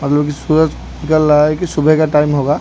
मतलब कि सूरज निकल रहा है कि सुबह का टाइम होगा।